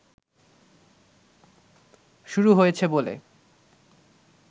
শুরু হয়েছে বলে